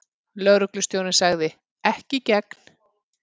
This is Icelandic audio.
Lögreglustjórinn sagði: Ekki í gegn.